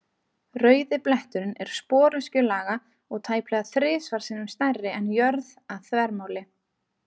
Rauði bletturinn er sporöskjulaga og tæplega þrisvar sinnum stærri en jörðin að þvermáli.